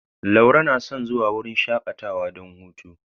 Laure na son zuwa wurin shakatawa don hutu.